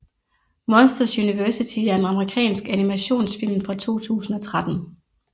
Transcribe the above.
Monsters University er en amerikansk animationsfilm fra 2013